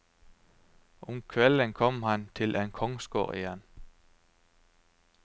Om kvelden kom han til en kongsgård igjen.